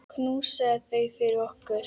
Knúsaðu þau fyrir okkur.